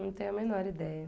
Não tenho a menor ideia.